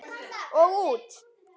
Og út.